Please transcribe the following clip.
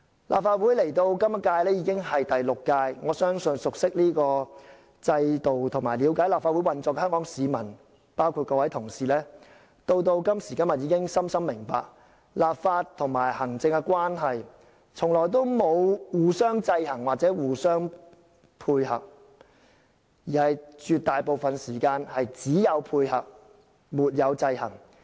"立法會到本屆已是第六屆，我相信熟悉這個制度和了解立法會運作的香港市民，包括各位同事，到今時今日已深深明白，立法和行政關係從來都不是互相制衡又互相配合，而在絕大部分時間只有配合，沒有制衡。